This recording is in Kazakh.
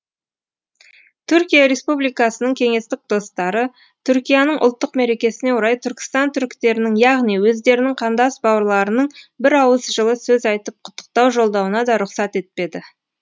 түркия республикасының кеңестік достары түркияның ұлттық мерекесіне орай түркістан түріктерінің яғни өздерінің қандас бауырларының бір ауыз жылы сөз айтып құттықтау жолдауына да рұқсат етпеді